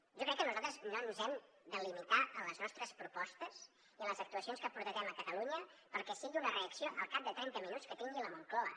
jo crec que nosaltres no ens hem de limitar en les nostres propostes i en les actuacions que porta a terme catalunya perquè sigui una reacció al cap de trenta minuts que tingui la moncloa